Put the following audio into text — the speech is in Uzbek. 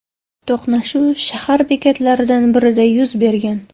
To‘qnashuv shahar bekatlaridan birida yuz bergan.